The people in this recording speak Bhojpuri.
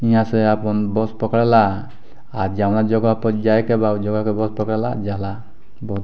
यहाँ से आपन बस पकड़ला अ जोन जगह पे जायके बा ऊ जगह के बस पकड़ला जाला ब --